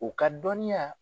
O ka dɔninya